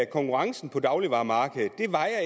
konkurrencen på dagligvaremarkedet